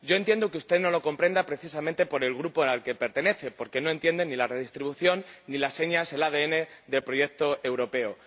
Yo entiendo que usted no lo comprenda, precisamente por el Grupo al que pertenece, porque no entienden ni la redistribución ni las señas, el ADN del proyecto europeo.